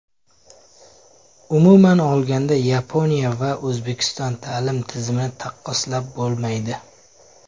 Umuman olganda, Yaponiya va O‘zbekiston ta’lim tizimini taqqoslab bo‘lmaydi.